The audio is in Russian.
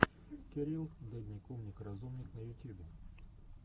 кирилл дедник умник разумник на ютьюбе